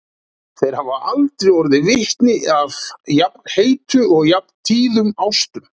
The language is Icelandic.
Þeir hafa aldrei orðið vitni að jafn heitum og jafn tíðum ástum.